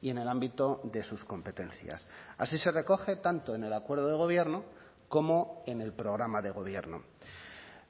y en el ámbito de sus competencias así se recoge tanto en el acuerdo de gobierno como en el programa de gobierno